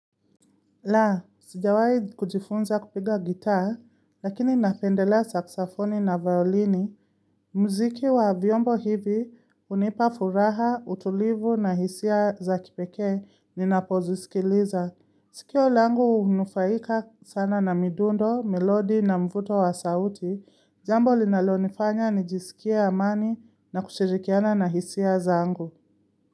La, sijawai kujifunza kupiga gitaa, lakini napendelea saksafoni na violini, mziki wa vyombo hivi unipa furaha, utulivu na hisia za kipeke, ninapozisikiliza. Sikio langu unufaika sana na midundo, melodi na mvuto wa sauti, jambo linalonifanya nijisikia amani na kushirikiana na hisia zangu.